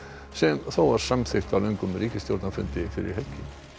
sem samþykkt var á löngum ríkisstjórnarfundi fyrir helgi